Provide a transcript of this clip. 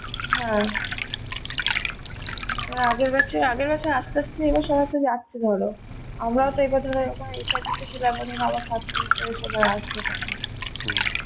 হ্যাঁ, ওরা আগের batch এর আগের batch এর এবার সবাই যাচ্ছে ধরো আমরাও তো এ বছর যখন SIP ছিলাম আবার first semester এ সবাই আসবে তখন